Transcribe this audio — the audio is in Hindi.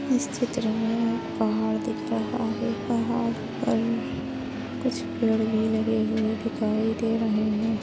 इस चित्र मे एक पहाड़ दिख रहा है पहाड़ और कुछ पेड़ भी लगे दिखाई दे रहे।